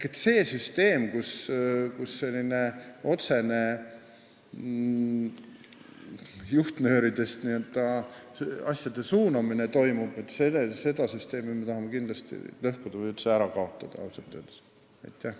Ausalt öeldes me tahame lõhkuda või üldse ära kaotada seda süsteemi, kus toimub asjade suunamine otsestest juhtnööridest lähtuvalt.